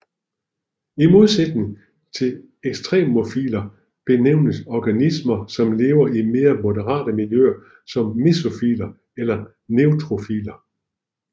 I modsætning til ekstremofiler benævnes organismer som lever i mere moderate miljøer som mesofiler eller neutrofiler